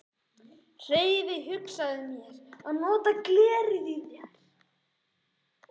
Hefi hugsað mér að nota glerið í þær.